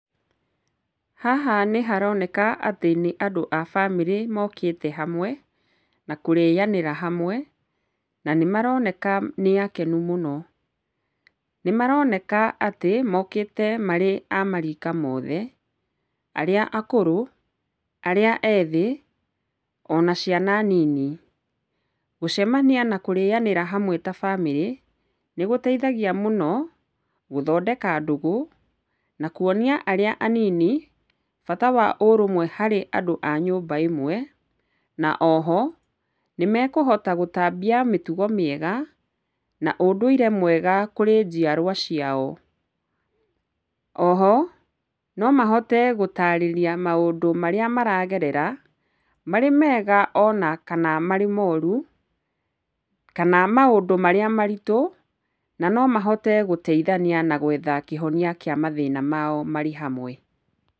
Haha nĩ haroneka atĩ nĩ andũ a bamĩrĩ mokĩte hamwe, na kũrĩyanĩra hamwe, na nĩmaroneka nĩakenu mũno. Nĩmaroneka atĩ mokĩte marĩ a marika mothe, arĩa akũrũ, arĩa ethĩ ona ciana nini. Gũcemania na kũrĩyanĩra hamwe ta bamĩrĩ, nĩgũteithagia mũno gũthondeka ndũgũ na kũonia arĩa anini bata wa ũrũmwe harĩ andũ a nyũmba ĩmwe, na oho nĩmekũhota gũtambia mĩtugo mĩega na ũndũire mwega kũrĩ njiarwa ciao. Oho nomahote gũtarĩria maũndũ marĩa maragerera marĩ meega ona kana marĩ mooru, kana maũndũ marĩa maritũ, na nomahote gũteithania na gwetha kĩhonia kĩa mathĩna mao marĩ hamwe.